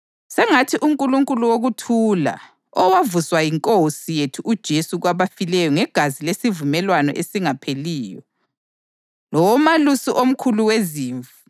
Sengathi uNkulunkulu wokuthula, owavusa iNkosi yethu uJesu kwabafileyo ngegazi lesivumelwano esingapheliyo, lowoMalusi omkhulu wezimvu,